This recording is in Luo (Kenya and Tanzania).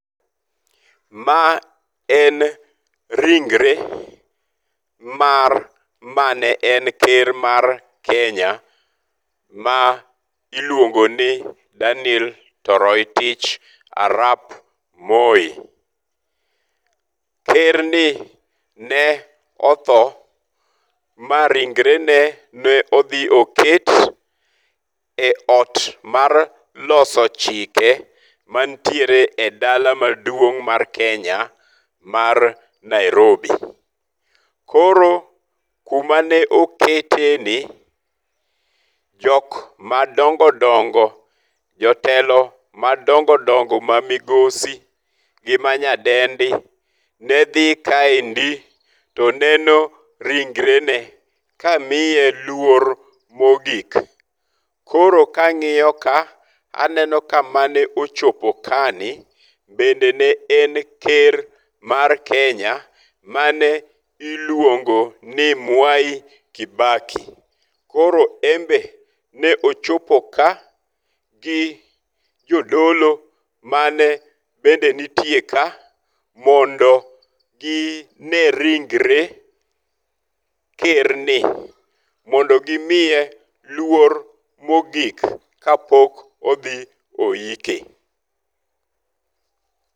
Ma en ringre mar mane en ker mar Kenya ma iluongo ni Daniel Toroitich arap Moi. Ker ni ne otho ma ringrene ne odhi oket e ot mar loso chike mantiere e dala maduong mar Kenya mar Nairobi. Koro kuma ne oketeni jok madongo dongo, jotelo madongo dongo ma migosi gi ma nyadendi nedhi kaendi to neno ringrene ka miye luor mogik. Koro kang'iyo ka aneno ka mane ochop ka ni bende ne en ker mar Kenya mane iluongo ni Mwai Kibaki. Koro en be ne ochopo ka gi jodolo mane bende nitie ka mondo gine ringre ker ni mondo gimiye luor mogik kapok odhi oyike.